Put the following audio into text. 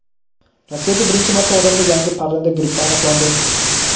Rossiyada birinchi marta odamda yangi parranda grippi aniqlandi.